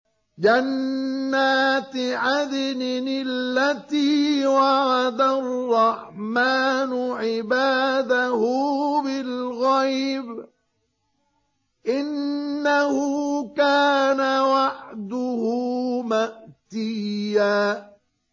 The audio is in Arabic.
جَنَّاتِ عَدْنٍ الَّتِي وَعَدَ الرَّحْمَٰنُ عِبَادَهُ بِالْغَيْبِ ۚ إِنَّهُ كَانَ وَعْدُهُ مَأْتِيًّا